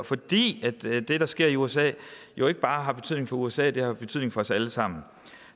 fordi det der sker i usa jo ikke bare har betydning for usa det har jo betydning for os alle sammen